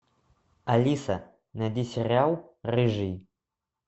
алиса найди сериал рыжий